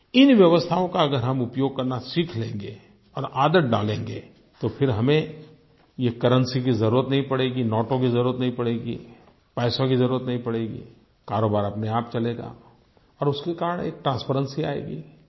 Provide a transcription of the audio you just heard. इन व्यवस्थाओं का अगर हम उपयोग करना सीख लेंगे और आदत डालेंगे तो फिर हमें ये करेंसी की ज़रूरत नहीं पड़ेगी नोटों की ज़रूरत नहीं पड़ेगी पैसों की ज़रूरत नहीं पड़ेगी कारोबार अपनेआप चलेगा और उसके कारण एक ट्रांसपेरेंसी आएगी